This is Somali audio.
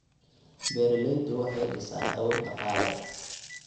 Beeraleydu waxay dhisayaan awood dhaqaale.